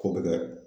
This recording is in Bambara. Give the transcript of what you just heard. K'o bɛ kɛ